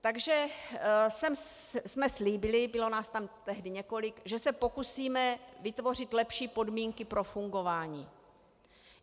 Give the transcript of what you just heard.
Takže jsme slíbili, bylo nás tam tehdy několik, že se pokusíme vytvořit lepší podmínky pro fungování.